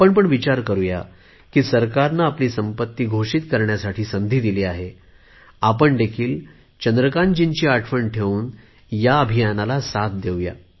आम्ही पण विचार करु की सरकारने आपली संपत्ती घोषित करण्यासाठी संधी दिली आहे आपणही चंद्रकांतजींची आठवण ठेऊन या अभियानाला साथ देवू